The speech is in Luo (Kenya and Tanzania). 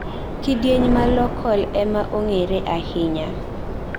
kidieny ma locol ema ong'ere ahinya